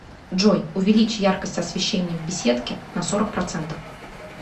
джой увеличь яркость освещения в беседке на сорок процентов